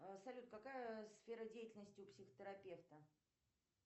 салют какая сфера деятельности у психотерапевта